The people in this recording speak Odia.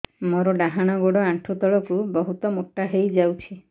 ମୋର ଡାହାଣ ଗୋଡ଼ ଆଣ୍ଠୁ ତଳକୁ ବହୁତ ମୋଟା ହେଇଯାଉଛି